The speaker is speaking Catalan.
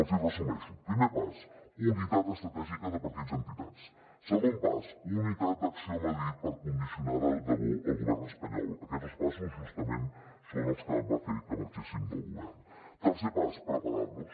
els hi resumeixo primer pas unitat estratègica de partits i entitats segon pas unitat d’acció a madrid per condicionar de debò el govern espanyol aquests dos passos justament són els que van fer que marxéssim del govern tercer pas preparar nos